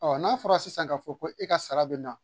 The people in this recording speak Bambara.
Ɔ n'a fɔra sisan k'a fɔ ko e ka sara bɛ na